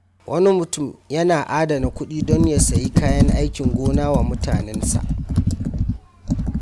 Wani mutum yana adana kudi don ya sayi kayan aikin gona wa mutanensa.